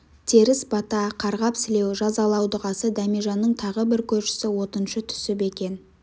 теріс бата қарғап-сілеу жазалау дұғасы дәмежанның тағы бір көршісі отыншы түсіп екен